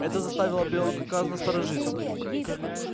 это заставило белого клыка насторожиться